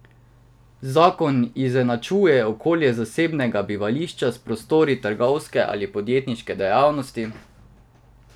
Zakon izenačuje okolje zasebnega bivališča s prostori trgovske ali podjetniške dejavnosti.